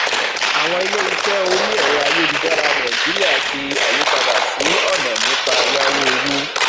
àwọn iléiṣẹ orí ẹrọayélujára nàìjíríà ṣe àyípadà sí ọnà nípa yáwó owó